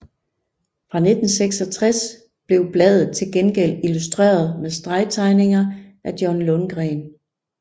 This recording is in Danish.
Fra 1966 blev bladet til gengæld illustreret med stregtegninger af John Lundgren